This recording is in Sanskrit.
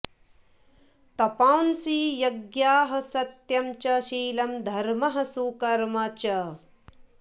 तपांसि यज्ञाः सत्यं च शीलं धर्मः सुकर्म च